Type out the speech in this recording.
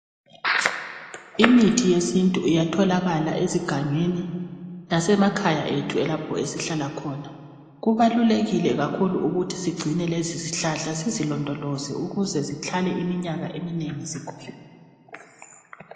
Imithi yesintu iyatholakala ezigangeni lasemakhaya ethu lapho esihlala khona kubalulekile kakhulu ukuthi sigcine lezi zihlahla sizilondoloze ukuze zihlale iminyaka eminengi zikhona.